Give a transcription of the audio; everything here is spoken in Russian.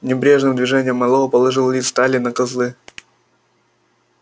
небрежным движением мэллоу положил лист стали на козлы